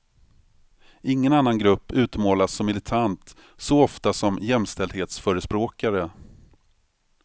Ingen annan grupp utmålas som militant så ofta som jämställdhetsförespråkare.